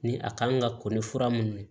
Ni a kan ka ko ni fura mun